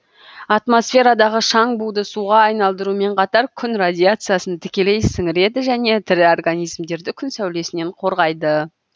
атмосферадағы шаң буды суға айналдырумен қатар күн радиациясын тікелей сіңіреді және тірі организмдерді күн сәулесінен қорғайды